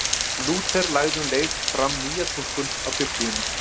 Lúther lagði um leið fram nýja túlkun á Biblíunni.